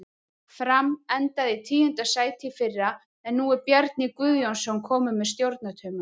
Fram endaði í tíunda sæti í fyrra en nú er Bjarni Guðjónsson kominn með stjórnartaumana.